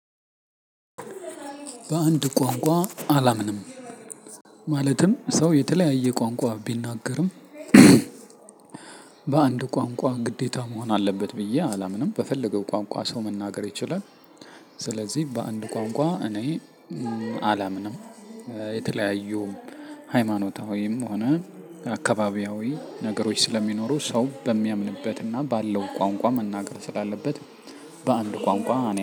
በአንድ ቋንቋ አላምንም። ማለትም ሰው የተለያየ ቋንቋ ቢናገርም በአንድ ቋንቋ ግዴታ መሆን አለበት ብዬ አላምንም በፈለገው ቋንቋ ሰው መናገር ይችላል። ስለዚህ በአንድ ቋንቋ እኔ አላምንም። የተለያዩ ሃይማኖታዊም ሆነ አካባቢያዊ ነገሮች ስለሚኖሩ ሰው በሚያምንበት እና ባለው ቋንቋ መናገር ስላለበት በአንድ ቋንቋ